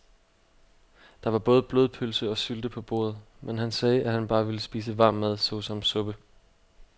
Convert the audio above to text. Der var både blodpølse og sylte på bordet, men han sagde, at han bare ville spise varm mad såsom suppe.